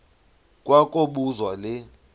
kwa kobuzwa le